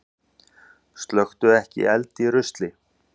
Slökktu ekki eld í rusli